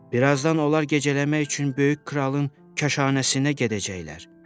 Bir azdan onlar gecələmək üçün böyük kralın kaşanəsinə gedəcəklər.